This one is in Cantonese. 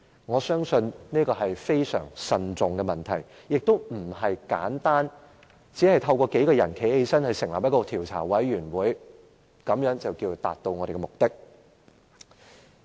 我相信這是一個要非常慎重地考慮的問題，也不是簡單地由數位議員站立支持成立一個調查委員會，便可以以達到的目的。